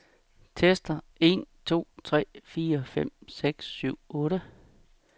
Tester en to tre fire fem seks syv otte.